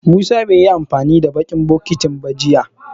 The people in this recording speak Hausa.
Musa bai yi amfani da baƙin bokitin ba jiya.